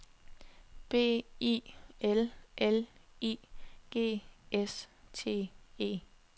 B I L L I G S T E